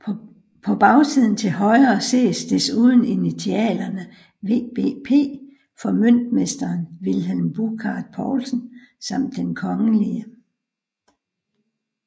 På bagsiden til højre ses desuden initialerne VBP for Møntmesteren Vilhelm Burchard Poulsen samt Den Kgl